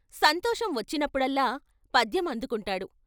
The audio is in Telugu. సంతోషం వచ్చినప్పుడల్లా పద్యం అందుకుంటాడు.